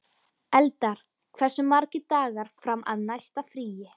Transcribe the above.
Eldar, hversu margir dagar fram að næsta fríi?